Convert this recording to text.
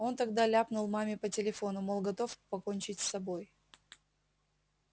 он тогда ляпнул маме по телефону мол готов покончить с собой